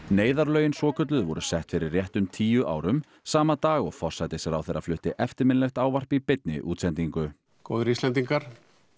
neyðarlögin svokölluðu voru sett fyrir réttum tíu árum sama dag og forsætisráðherra flutti eftirminnilegt ávarp í beinni útsendingu góðir Íslendingar